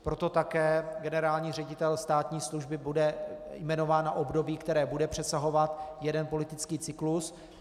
Proto také generální ředitel státní služby bude jmenován na období, které bude přesahovat jeden politický cyklus.